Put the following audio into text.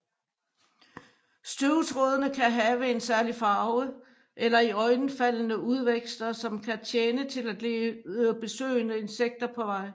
Støvtrådene kan have en særlig farve eller iøjnefaldende udvækster som kan tjene til at lede besøgende insekter på vej